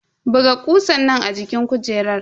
Buga kusan nan a jikin kujerar.